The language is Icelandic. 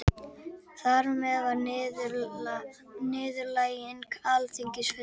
Þar með var niðurlæging Alþingis fullkomnuð